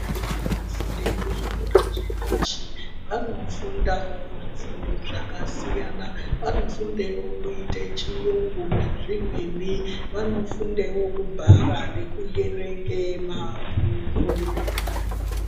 Vanofunde kuzvikora zvepashi vanofundawo zvifundo zvakasiyana vanofumdewo luite chiyungu nezvimweni vanofundewo kubhara nekuyerenge mabhuku.